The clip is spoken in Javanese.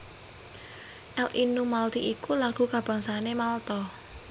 L Innu Malti iku lagu kabangsané Malta